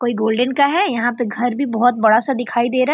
कोई गोल्डन का है। यहाँ पे घर भी बोहोत बहु बड़ा-सा दिखाई दे रहा --